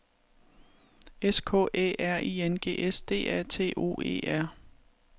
S K Æ R I N G S D A T O E R